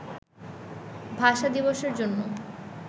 ভাষা দিবসের জন্য